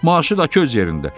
Maaşı da ki, öz yerində.